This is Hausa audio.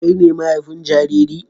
Kai ne mahaifin jariri?